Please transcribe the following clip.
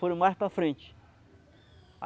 Foram mais para a frente.